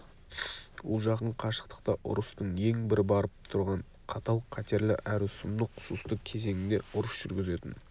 ол жақын қашықтықта ұрыстың ең бір барып тұрған қатал қатерлі әрі сұмдық сұсты кезеңінде ұрыс жүргізетін